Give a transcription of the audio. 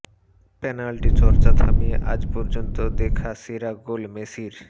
penalty চর্চা থামিয়ে আজ পর্যন্ত দেখা সেরা গোল মেসির